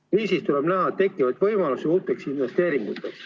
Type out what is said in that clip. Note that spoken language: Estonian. Kriisis tuleb näha tekkivaid võimalusi uuteks investeeringuteks.